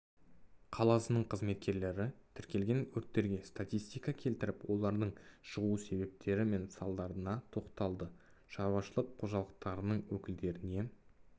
қаласының қызметкерлері тіркелген өрттерге статистика келтіріп олардың шығу себептері мен салдарына тоқталды шаруашылық қожалықтарының өкілдеріне